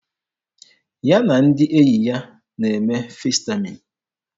Ya na ndị enyi ya na-eme Festaịm.